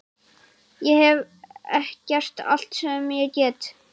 Ég hef gert allt sem ég get.